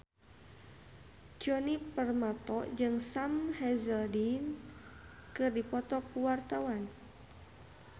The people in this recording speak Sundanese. Djoni Permato jeung Sam Hazeldine keur dipoto ku wartawan